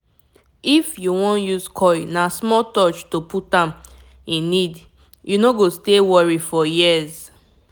if you wan use coil na small touch to put am e need - u no go stay worry for years.